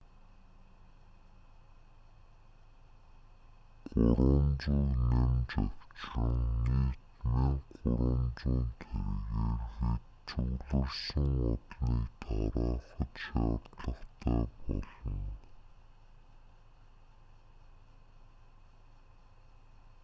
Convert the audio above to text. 300-г нэмж авчран нийт 1,300 тэргээр хэт цугларсан олныг тараахад шаардлагатай болно